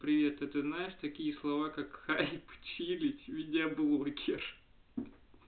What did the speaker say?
привет а ты знаешь такие слова как популярность отдыхать видеоблогер